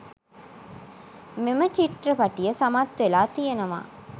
මෙම චිත්‍රපටිය සමත් වෙලා තියෙනවා.